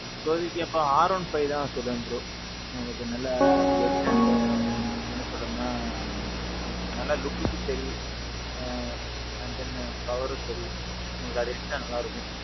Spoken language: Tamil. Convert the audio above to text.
இப்போதைக்கு நான் வந்து R one five தான் நான் சொல்லுவேன் bro. உங்களுக்கு நல்லா கெத்து and என்ன சொல்றதுன்னா. நல்ல lookக்கும் சரி, ஆ. அடுத்து power ம் சரி, உங்களுக்கு நல்லா இருக்கும்.